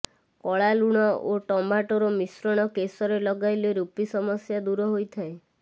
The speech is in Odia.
କଳା ଲୁଣ ଓ ଟମାଟୋର ମିଶ୍ରଣ କେଶରେ ଲଗାଇଲେ ରୂପି ସମସ୍ୟା ଦୂର ହୋଇଥାଏ